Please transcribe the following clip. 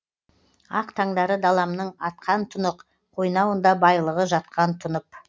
ақ таңдары даламның атқан тұнық қойнауында байлығы жатқан тұнып